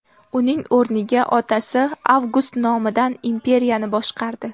Uning o‘rniga otasi Avgust nomidan imperiyani boshqardi.